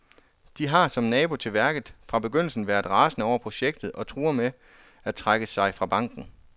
De har, som nabo til værket, fra begyndelsen været rasende over projektet og truer med at trække sig fra banken.